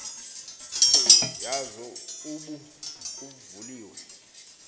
yazo ubu vuliwe